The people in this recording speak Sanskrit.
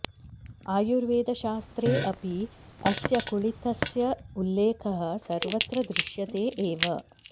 आयुर्वेदशास्त्रे अपि अस्य कुळित्थस्य उल्लेखः सर्वत्र दृश्यते एव